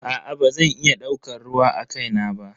Aa bazan iya daukar ruwa akai na ba.